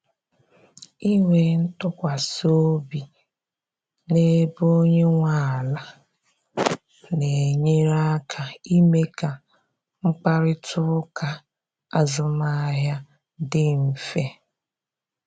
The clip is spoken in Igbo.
Inwe ntụkwasị obi na-ebe onye nwe ala na-enyere aka ime ka mkparịta ụka azụmahịa dị mfe.